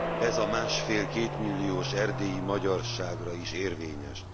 Ez a másfél kétmilliós erdélyi magyarságra is érvényes.